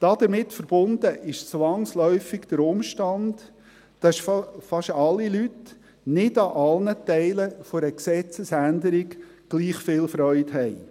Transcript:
Damit verbunden ist zwangsläufig der Umstand, dass fast alle Leute nicht an allen Teilen einer Gesetzesänderung gleich viel Freude haben.